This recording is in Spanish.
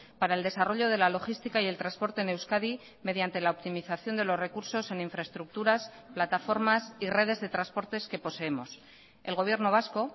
para el desarrollo de la logística y el transporte en euskadi mediante la optimización de los recursos en infraestructuras plataformas y redes de transportes que poseemos el gobierno vasco